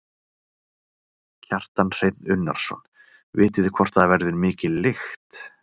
Kjartan Hreinn Unnarsson: Vitið þið hvort að það verður mikil lykt?